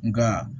Nka